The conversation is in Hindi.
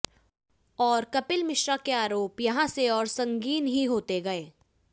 और कपिल मिश्रा के आरोप यहाँ से और संगीन ही होते गए